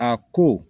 A ko